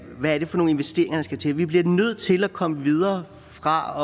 hvad er det for nogle investeringer der skal til vi bliver nødt til at komme videre fra